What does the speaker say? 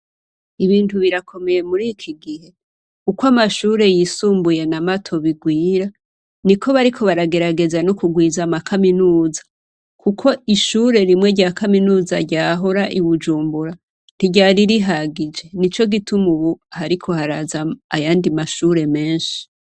Ibintu birakomeye murikigihe uko amashure yisumbuye na mato bigwira niko bariko baragerageza no kwigwiza amakaminuza kuko ishure rimwe rya kaminuza ryahora i Bujumbura ntiryari rihagije nico gituma ubu hariko haraza ayandi mashure menshi.